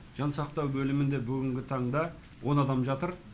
жансақтау бөлімінде бүгінгі таңда он адам жатыр